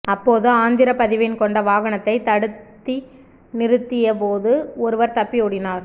அப்போது ஆந்திர பதிவெண் கொண்ட வாகனத்தை தடுத்தி நிறுத்திய போது ஒருவர் தப்பி ஓடினார்